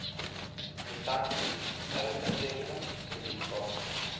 kwitansies telefoonrekenings kredietkaarte